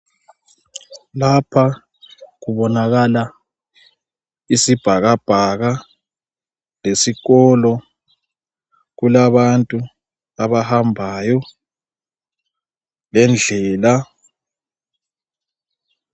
Lapha kubonakala isibhakabhaka lesikolo kulabantu abahambayo lendlela.